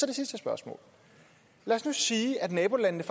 det sidste spørgsmål lad os nu sige at nabolandene